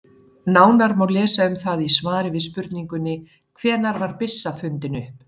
Nánar má lesa um það í svari við spurningunni Hvenær var byssan fundin upp?